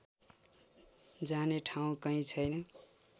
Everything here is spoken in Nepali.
जाने ठाउँ कहीँ छैन